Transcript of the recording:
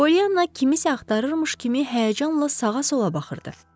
Pollyanna kimisə axtırırmış kimi həyəcanla sağa-sola baxırdı.